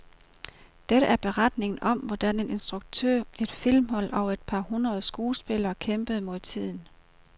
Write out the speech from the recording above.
Det er beretningen om, hvordan en instruktør, et filmhold og et par hundreder skuespillere kæmpede mod tiden.